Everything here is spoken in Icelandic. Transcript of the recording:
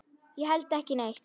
Ég held ekki neitt.